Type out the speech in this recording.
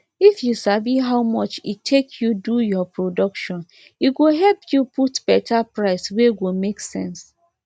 if you sabi how much e take you do your production e go help you put better price wey go make sense